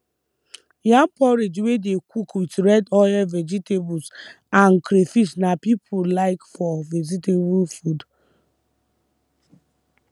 yam porridge wey dey cook with red oil vegetables and crayfish na people like for vegetable food